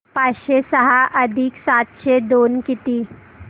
पाचशे सहा अधिक सातशे दोन किती